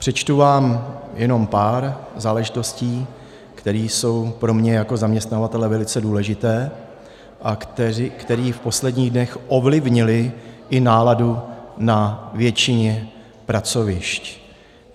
Přečtu vám jenom pár záležitostí, které jsou pro mě jako zaměstnavatele velice důležité a které v posledních dnech ovlivnily i náladu na většině pracovišť.